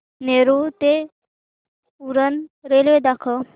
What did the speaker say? नेरूळ ते उरण रेल्वे दाखव